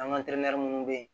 An ka teri minnu bɛ yen